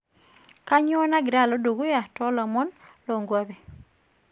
kanyoo nagira alo dukuya too ilomon loo inkuapi